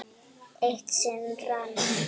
Eitt sinn rann